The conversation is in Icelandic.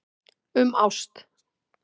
Um ást.